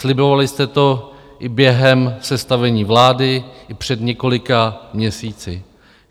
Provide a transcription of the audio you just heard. Slibovali jste to i během sestavení vlády i před několika měsíci.